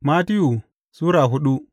Mattiyu Sura hudu